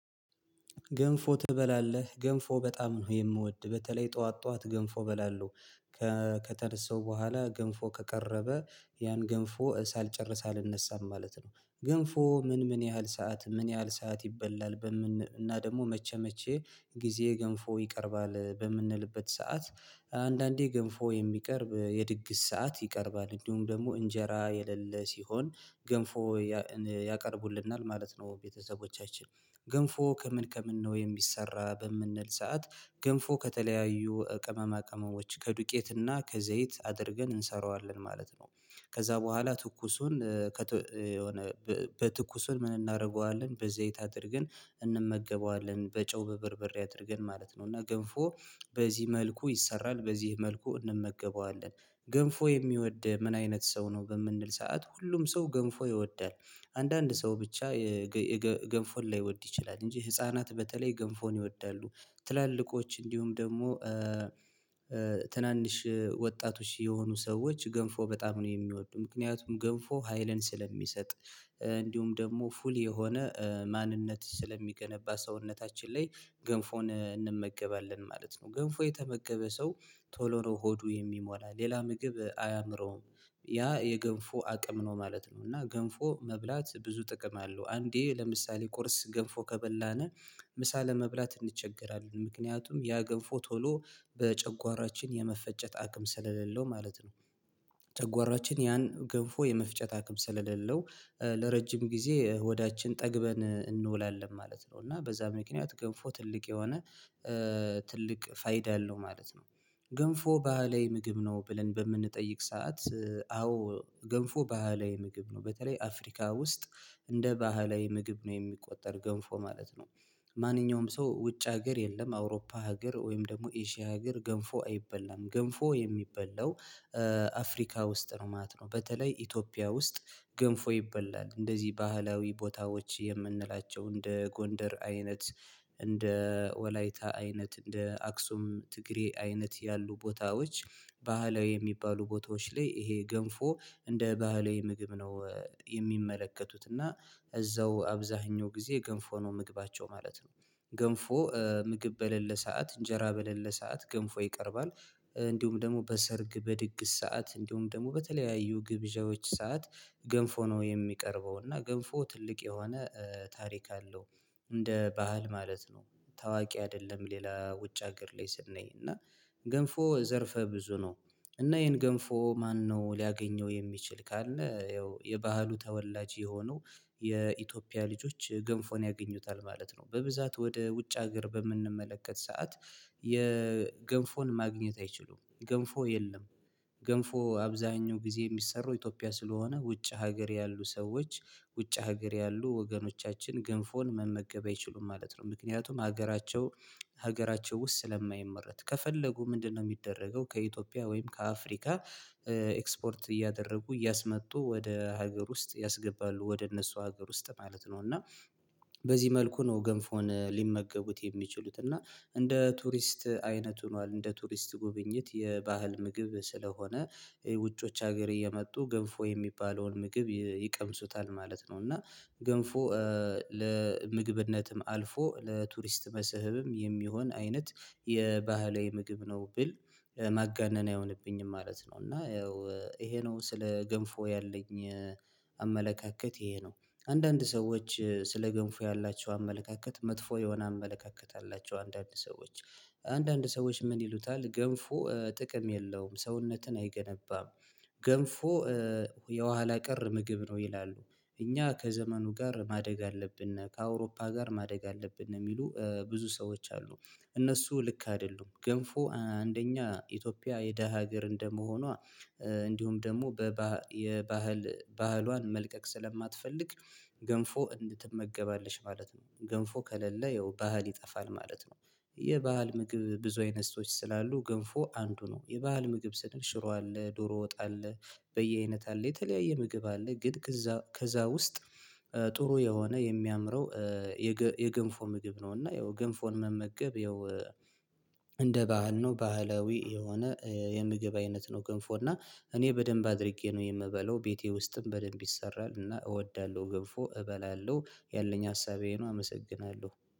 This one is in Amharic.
ገንፎ ትበላለህ ገንፎ በጣም ነው የምወድ በተለይ ጧት ጧት ገንፎ በላለው ከተደሰው በኋላ ገንፎ ከቀረበ ያን ገንፎ ሳልጨርስ አልነሳም ማለት ነው። ገንፎ ምን ምን ያህል ሰዓት ምን ያህል ሰዓት ይበላል በምን እና ደግሞ መቼ መቼ ጊዜ ገንፎ ይቀርባል በምንልበት ሰዓት? አንዳንዴ ገንፎ የሚቀርብ የድግስ ሰዓት ይቀርባል እንዲሁም ደግሞ እንጀራ የሌለ ሲሆን ገንፎ ያቀርቡልናል ማለት ነው ቤተሰቦቻችን። ገንፎ ከምን ከምን ነው የሚሰራ በምንል ሰዓት? ገንፎ ከተለያዩ ቅመማ ቅመሞች ከዱቄትና ከዘይት አድርገን እንሰራዋለን ማለት ነው። ከዛ በኋላ ትኩሱን የሆነ በትኩሱን ምን እናደርገዋለን በዘይት አድርገን እንመገበዋለን በጨው በበርበሬ አድርገን ማለት ነው። እና ገንፎ በዚህ መልኩ ይሰራል በዚህ መልኩ እንመገበዋለን። ገንፎ የሚወድ ምን አይነት ሰው ነው በምንል ሰዓት ሁሉም ሰው ገንፎ ይወዳል። አንዳንድ ሰው ብቻ ገንፎን ላይወድ ይችላል እንጂ ህፃናት በተለይ ገንፎን ይወዳሉ። ትላልቆች እንዲሁም ደግሞ ትናንሽ ወጣቶች የሆኑ ሰዎች ገንፎ በጣም ነው የሚወዱ ምክንያቱም ገንፎ ሀይልን ስለሚሰጥ እንዲሁም ደግሞ ፉል የሆነ ማንነት ስለሚገነባ ሰውነታችን ላይ ገንፎን እንመገባለን ማለት ነው። ገንፎ የተመገበ ሰው ቶሎ ነው ሆዱ የሚሞላ ሌላ ምግብ አያምረውም ያ የገንፎ አቅም ነው ማለት ነው። እና ገንፎ መብላት ብዙ ጥቅም አለው አንዴ ለምሳሌ ቁርስ ገንፎ ከበላን ምሳ ለመብላት እንቸገራለን ምክንያቱም ያ ገንፎ ቶሎ በጨጓራችን የመፈጨት አክም ስለሌለው ማለት ነው። ተጓራችን ያን ግፍፉ የመፍጨት አክም ስለሌለው ለረጅም ጊዜ ሆዳችን ጠግበን እንውላለን ማለት ነው። እና በዛ ምክንያት ገንፎ ትልቅ የሆነ ትልቅ ፋይዳ ያለው ማለት ነው። ገንፎ ባህላዊ ምግብ ነው ብለን በምንጠይቅ ሰዓት አዎ ገንፎ ባህላዊ ምግብ ነው በተለይ አፍሪካ ውስጥ እንደ ባህላዊ ምግብ ነው የሚቆጠር ገንፎ ማለት ነው። ማንኛውም ሰው ውጭ ሀገር የለም አውሮፓ ሀገር ወይም ደግሞ ኢዥያ ሀገር ገንፎ አይበላም ገንፎ የሚበላው አፍሪካ ውስጥ ነው ማለት ነው። በተለይ ኢትዮጵያ ውስጥ ገንፎ ይበላል እንደዚህ ባህላዊ ቦታዎች የምንላቸው እንደ ጎንደር አይነት እንደ ወላይታ አይነት እንደ አክሱም ትግሬ አይነት ያሉ ቦታዎች ባህላዊ የሚባሉ ቦታዎች ላይ ይሄ ገንፎ እንደ ባህላዊ ምግብ ነው። የሚመለከቱት እና እዛው አብዛኛው ጊዜ ገንፎ ነው ምግባቸው ማለት ነው። ገንፎ ምግብ በሌለ ሰዓት እንጀራ በሌለ ሰዓት ገንፎ ይቀርባል። እንዲሁም ደግሞ በሰርግ በድግስ ሰዓት እንዲሁም ደግሞ በተለያዩ ግብዣዎች ሰዓት ገንፎ ነው የሚቀርበው እና ገንፎ ትልቅ የሆነ ታሪክ አለው። እንደ ባህል ማለት ነው ታዋቂ አይደለም ሌላ ውጭ ሀገር ላይ ስናይ እና ገንፎ ዘርፈ ብዙ ነው። እና ይሄን ገንፎ ማነው ሊያገኘው የሚችል ካለ ያው የባህሉ ተወላጅ የሆኑ የኢትዮጵያ ልጆች ገንፎን ያገኙታል ማለት ነው። በብዛት ወደ ውጭ ሀገር በምንመለከት ሰዓት የገንፎን ማግኘት አይችሉም ገንፎ የለም። ገንፎ አብዛኛው ጊዜ የሚሰሩ ኢትዮጵያ ስለሆነ ውጭ ሀገር ያሉ ሰዎች ውጭ ሀገር ያሉ ወገኖቻችን ግንፎን መመገብ አይችሉም ማለት ነው። ምክንያቱም ሀገራቸው ሀገራቸው ውስጥ ስለማይመረት ከፈለጉ ምንድነው የሚደረገው ከኢትዮጵያ ወይም ከአፍሪካ ኤክስፖርት እያደረጉ እያስመጡ ወደ ሀገር ውስጥ ያስገባሉ ወደ እነሱ ሀገር ውስጥ ማለት ነው። እና በዚህ መልኩ ነው ገንፎን ሊመገቡት የሚችሉት እና እንደ ቱሪስት አይነት ሆኗል እንደ ቱሪስት ጉብኝት የባህል ምግብ ስለሆነ ውጮች ሀገር እየመጡ ገንፎ የሚባለውን ምግብ ይቀምሱታል ማለት ነው። እና ገንፎ ለምግብነትም አልፎ ለቱሪስት መስህብም የሚሆን አይነት የባህላዊ ምግብ ነው ብል ማጋነን አይሆንብኝም ማለት ነው። እና ያው ይሄ ነው ስለ ገንፎ ያለኝ አመለካከት ይሄ ነው። አንዳንድ ሰዎች ስለ ገንፎ ያላቸው አመለካከት መጥፎ የሆነ አመለካከት አላቸው አንዳንድ ሰዎች አንዳንድ ሰዎች ምን ይሉታል ገንፎ ጥቅም የለውም ሰውነትን አይገነባም። ገንፎ የኋላ ቀር ምግብ ነው ይላሉ። እኛ ከዘመኑ ጋር ማደግ አለብን ከአውሮፓ ጋር ማደግ አለብን የሚሉ ብዙ ሰዎች አሉ። እነሱ ልክ አይደሉም ገንፎ አንደኛ ኢትዮጵያ የደሃ ሀገር እንደመሆኗ እንዲሁም ደግሞ የባህል ባህሏን መልቀቅ ስለማትፈልግ ገንፎ እንድ ትመገባለች ማለት ነው። ገንፎ ከሌለ ያው ባህል ይጠፋል ማለት ነው። የባህል ምግብ ብዙ አይነት ሰዎች ስላሉ ግንፎ አንዱ ነው የባህል ምግብ ስል ሽሮ አለ ዶሮ ወጣ አለ። በየአይነት አለ የተለያየ ምግብ አለ ግን ከዛ ከዛ ውስጥ ጥሩ የሆነ የሚያምረው የገንፎ ምግብ ነው። እና ያው ገንፎን መመገብ ያው እንደ ባህል ነው ባህላዊ የሆነ የምግብ አይነት ነው። ገንፎ እና እኔ በደንብ አድርጌ ነው የምበለው ቤቴ ውስጥም በደንብ ይሰራል እና እወዳለሁ ገብፎ እበላለሁ ያለኝ ሀሳቤን አመሰግናለሁ